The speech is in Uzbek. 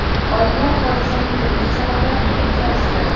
Olimlar hodisaning turli sabablarini ilgari suradi.